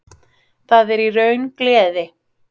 Það er í raun gleði.